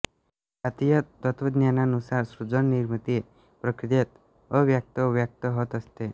भारतीय तत्त्वज्ञानानुसार सृजननिर्मिती प्रक्रियेत अव्यक्त व्यक्त होत असते